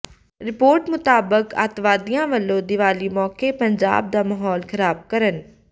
report ਮੁਤਾਬਕ ਅੱਤਵਾਦੀਆਂ ਵਲੋਂ ਦੀਵਾਲੀ ਮੌਕੇ ਪੰਜਾਬ ਦਾ ਮਾਹੌਲ ਖਰਾਬ ਕਰਨ